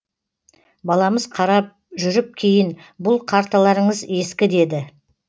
баламыз қарап жүріп кейін бұл карталарыңыз ескі деді